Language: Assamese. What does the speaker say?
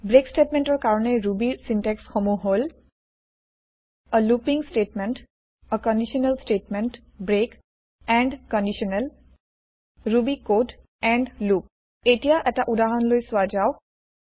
ব্ৰেক স্তেতমেন্ত ৰ কাৰনে ৰুবি ৰ ছিন্তেক্স সমুহ হল a looping statement a conditional statement break end conditional Ruby code end loop এতিয়া এটা উদাহৰণ লৈ চোৱা যাওঁক